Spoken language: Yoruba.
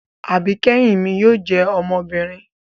Àbikẹhin mi yóò jẹ ọmọbinrin